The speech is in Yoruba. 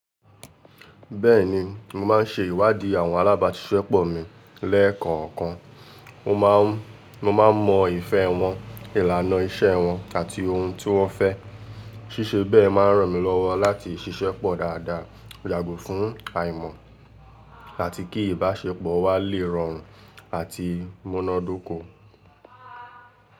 Bẹ́ẹ̀ni, mo máa ń ṣe ìwádìí àwọn alábàáṣiṣẹ́pọ̀ mi lẹ́ẹ̀kọ̀ọ̀kan o maa n Mo máa ń mọ ìfẹ́ wọn, ìlànà iṣẹ́ wọn àti ohun tí wọ́n fẹ́. Síṣe bẹ́ẹ̀ máa ń ràn mí lọ́wọ́ láti ṣiṣẹ́pọ̀ dáadáa, yàgò fún àìmọ̀ àti kí ìbáṣepọ̀ wa lè rọrùn àti múnádóko.